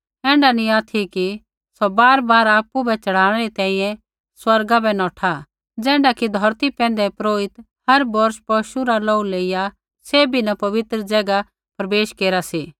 ऐण्ढा नी ऑथि कि सौ बारबार आपु बै च़ढ़ाणै री तैंईंयैं स्वर्गा बै नौठा ज़ैण्ढा कि धौरती पैंधै महापुरोहित हर बौर्ष पशु रा लोहू लेइया सैभी न पवित्र ज़ैगा प्रवेश केरा सा